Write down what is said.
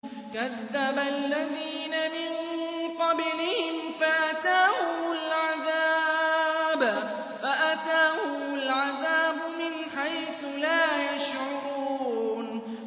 كَذَّبَ الَّذِينَ مِن قَبْلِهِمْ فَأَتَاهُمُ الْعَذَابُ مِنْ حَيْثُ لَا يَشْعُرُونَ